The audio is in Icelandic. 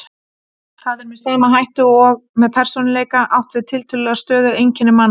Þar er með sama hætti og með persónuleika átt við tiltölulega stöðug einkenni manna.